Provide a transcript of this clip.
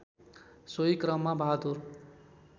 सोही क्रममा बहादुर